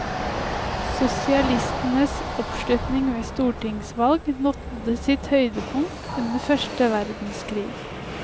Sosialistenes oppslutning ved stortingsvalg nådde sitt høydepunkt under første verdenskrig.